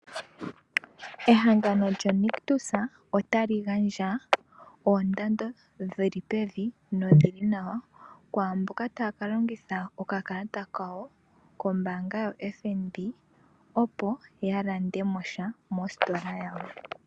Ehangano lyoNictus itali gandja oondando dhili pevi nodhili nawa kwaamboka taya ka longitha okakalata kawo kombaanga yaFnb opo yalandemo sha mositola yawo.